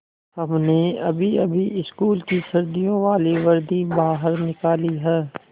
हमने अभीअभी स्कूल की सर्दियों वाली वर्दी बाहर निकाली है